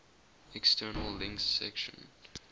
external links section